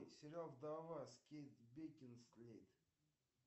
сериал вдова кейт бекинсейл